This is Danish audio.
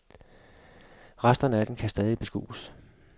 Resterne af den kan stadig beskues.